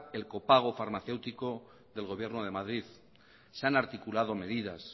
el copago farmacéutico del gobierno de madrid se han articulado medidas